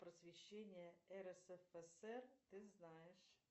просвещение рсфср ты знаешь